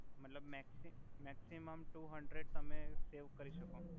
મતલબ maxi maximum two hundred તમે save કરી સકો